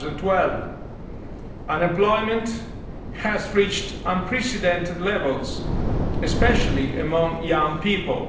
2012. Unemployment has reached unprecedented levels, especially among young people.